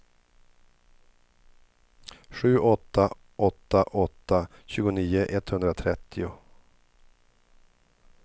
sju åtta åtta åtta tjugonio etthundratrettio